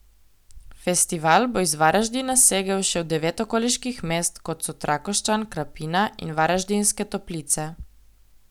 Festival bo iz Varaždina segel še v devet okoliških mest, kot so Trakošćan, Krapina in Varaždinske Toplice.